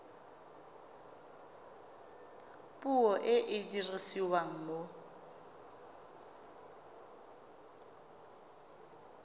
puo e e dirisiwang mo